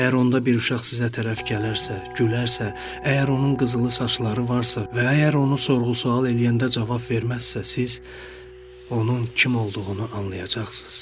Əgər onda bir uşaq sizə tərəf gələrsə, gülərsə, əgər onun qızılı saçları varsa və əgər onu sorğu-sual eləyəndə cavab verməzsə, siz onun kim olduğunu anlayacaqsız.